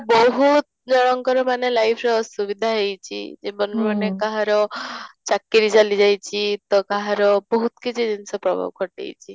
ବହୁତ ଜଣଙ୍କର ମାନେ life ର ସୁବିଧା ହେଇଛି ଜୀବନ ମାନେ କାହାର ଚାକିରୀ ଚାଲି ଯାଇଛି ତ କାହାର ବହୁତ କିଛି ଜିନିଷ ପ୍ରଭାବ ଘଟିଛି